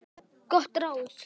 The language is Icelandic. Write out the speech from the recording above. Gott ráð.